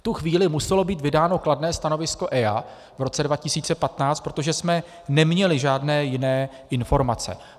V tu chvíli muselo být vydáno kladné stanovisko EIA v roce 2015, protože jsme neměli žádné jiné informace.